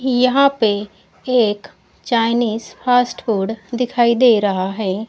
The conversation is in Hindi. यहां पे एक चाइनीज़ फास्ट फूड दिखाई दे रहा है।